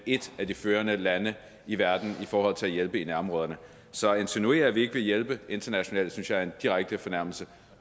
et af de førende lande i verden i forhold til at hjælpe i nærområderne så at insinuere at vi ikke vil hjælpe internationalt synes jeg er en direkte fornærmelse